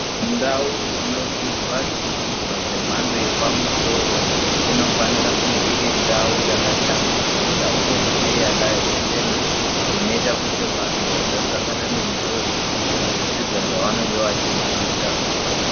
Ndau inodzidzwa zvidzidzwa zvemhando yepamusoro, inofanira kunge iri ndau yakashambidzika, uyezve yakachena, inoita kuti vanhu vasasangana nenjodzi, muzvidzidzwa zvavanenge vachidzidza.